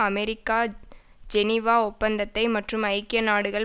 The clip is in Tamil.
அமெரிக்கா ஜெனிவா ஒப்பந்தத்தை மற்றும் ஐக்கிய நாடுகள்